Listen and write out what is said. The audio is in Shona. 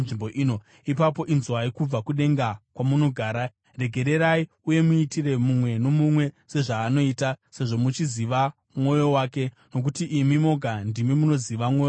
ipapo inzwai kubva kudenga kwamunogara. Regererai uye muitire mumwe nomumwe sezvaanoita, sezvo muchiziva mwoyo wake (nokuti imi moga ndimi munoziva mwoyo yavanhu),